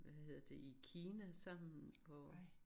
Hvad hedder det i Kina sammen hvor